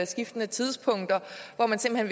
skiftende tidspunkter hvor man simpelt